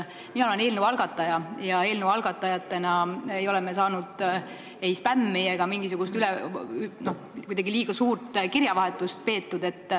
Mina olen eelnõu algataja ja eelnõu algatajad ei ole saanud ei spämmi ega ole meiega kuidagi liiga suurt kirjavahetust peetud.